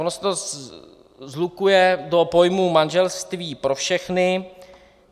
Ono se to shlukuje do pojmu manželství pro všechny.